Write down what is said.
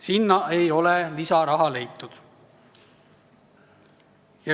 Sinna ei ole lisaraha leitud.